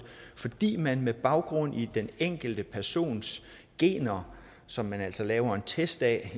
fordi man med baggrund i den enkelte persons gener som man altså laver en test af